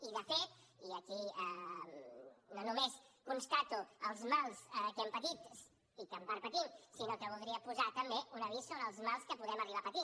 i de fet i aquí no només constato els mals que hem patit i que en part patim sinó que voldria posar també un avís sobre els mals que podem arribar a patir